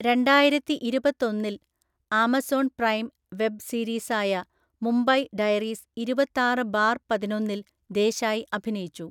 രണ്ടായിരത്തിഇരുപത്തൊന്നില്‍, Amazon Prime web സീരീസായ Mumbai Diaries ഇരുപത്താറ് ബാര്‍ പതിനൊന്നില്‍ ദേശായി അഭിനയിച്ചു.